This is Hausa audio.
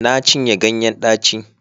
Na cinye ganyen daci